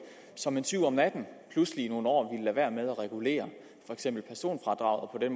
som en tyv om natten pludselig i nogle år ville lade være med at regulere for eksempel personfradraget og